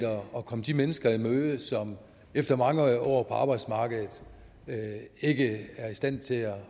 at komme de mennesker i møde som efter mange år på arbejdsmarkedet ikke er i stand til at